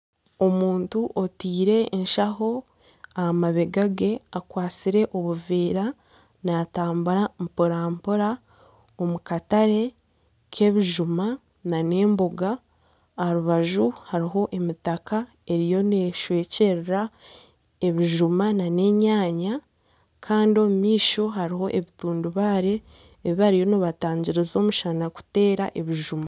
Omuntu ataire enshaho aha mabega ge akwatsire obuveera natambura mpora-mpora omukatare k'ebijuma nana emboga aha rubaju hariho emitaka eriho neshwekyerera ebijuma nana enyanya kandi omu maisho hariho ebitundubaare ebi bariyo nibatangiriza omushana kutateera ebijuma.